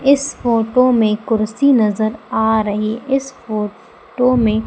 इस फोटो में कुर्सी नजर आ रही। इस फोटो में --